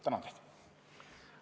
Tänan!